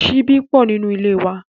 Ṣíbí pọ̀ nínú ilé wa.